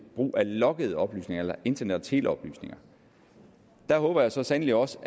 brug af loggede oplysninger eller internet og teleoplysninger det håber jeg så sandelig også